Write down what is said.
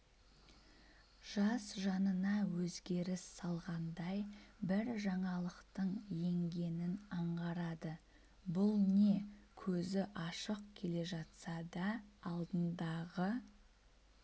жас жанына өзгеріс салғандай бір жаңалықтың еңгенін аңғарады бұл не көзі ашық келе жатса да алдындағы